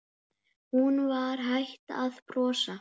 Þú ert léttur, þykir mér!